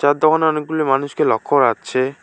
চা'র দোকানে অনেকগুলি মানুষকে লক্ষ্য করা যাচ্ছে।